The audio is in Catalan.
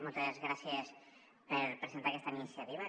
moltes gràcies per presentar aquesta iniciativa